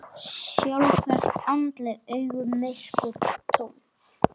Stjarft andlit, augun myrk, tóm.